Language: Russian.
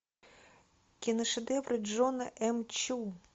киношедевры джона м чу